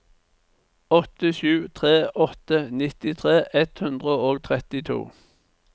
åtte sju tre åtte nittitre ett hundre og trettito